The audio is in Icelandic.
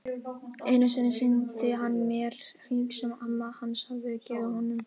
Einu sinni sýndi hann mér hring sem amma hans hafði gefið honum.